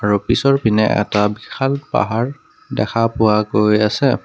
আৰু পিছৰ পিনে এটা বিশাল পাহাৰ দেখা পোৱা গৈ আছে।